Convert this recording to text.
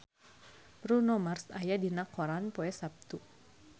Bruno Mars aya dina koran poe Saptu